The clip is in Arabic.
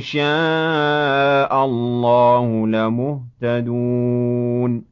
شَاءَ اللَّهُ لَمُهْتَدُونَ